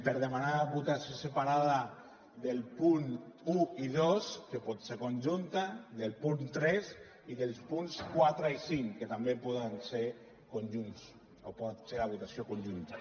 per demanar votació separada dels punts un i dos que pot ser conjunta del punt tres i dels punts quatre i cinc que també poden ser conjunts o pot ser la votació conjunta